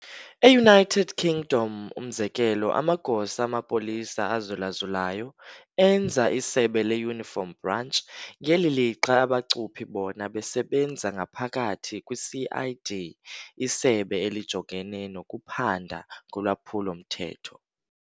E-United Kingdom, umzekelo, amagosa amapolisa azulazulayo enza "isebe le-uniform branch", ngeli lixa abachuphi bona besebenza ngaphakathi kwi-CID, "Isebe elijongene nokuphanda ngolwaphulo mthetho".